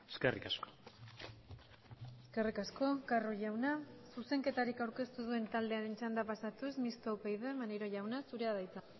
eskerrik asko eskerrik asko carro jauna zuzenketarik aurkeztu ez duen taldearen txanda pasatuz mistoa upyd maneiro jauna zurea da hitza